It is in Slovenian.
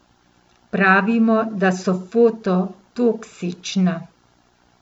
Pravimo, da so foto toksična.